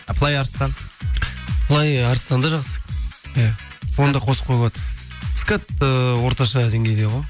а флай арыстан флай арыстан да жақсы иә оны да қосып қоюға болады скат ыыы орташа деңгейде ғой